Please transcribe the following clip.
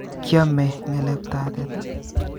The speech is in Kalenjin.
Kyome ngeleb'tap teta?